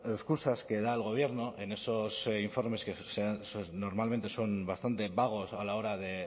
excusas que da el gobierno en esos informes que normalmente son bastante vagos a la hora de